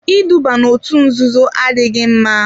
Iduba n'òtù nzuzo adịghị mma.